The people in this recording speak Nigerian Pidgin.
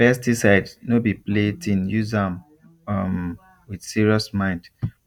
pesticide no be playthinguse am um with serious mind